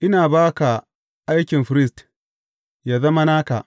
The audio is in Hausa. Ina ba ka aikin firist, yă zama naka.